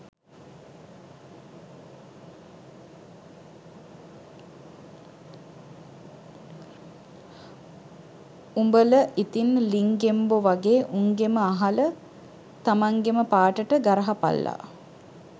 උඹල ඉතින් ලිං ගෙම්බො වගෙ උන්ගෙම අහල තමන්ගෙම පාටට ගරහපල්ලා